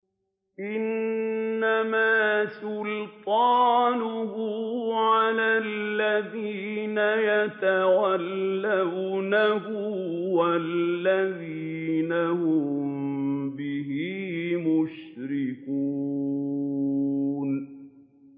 إِنَّمَا سُلْطَانُهُ عَلَى الَّذِينَ يَتَوَلَّوْنَهُ وَالَّذِينَ هُم بِهِ مُشْرِكُونَ